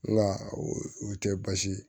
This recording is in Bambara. Nka o tɛ baasi ye